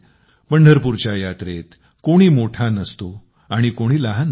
पंढरपूरच्या यात्रेत कोणी मोठा नसतो आणि कोणी लहान नसतो